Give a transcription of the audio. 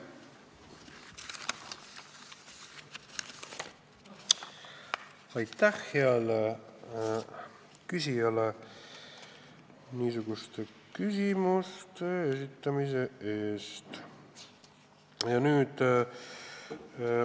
Aitäh heale küsijale niisuguste küsimuste esitamise eest!